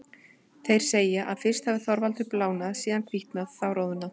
Þeir segja að fyrst hafi Þorvaldur blánað, síðan hvítnað, þá roðnað.